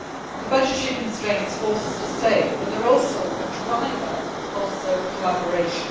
The budgetary constraints force us to save, but they are also a driver of closer collaboration